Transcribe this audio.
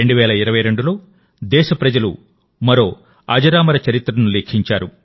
2022లో దేశప్రజలు మరో అజరామర చరిత్రను లిఖించారు